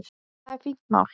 Það er fínt mál.